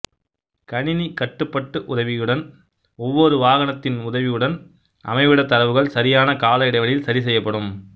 கணினி கட்டுபட்டு உதவியுடன் ஒவ்வொரு வாகனத்தின் உதவியுடன் அமைவிட தரவுகள் சரியான கால இடைவெளியில் சரி செய்யபடும்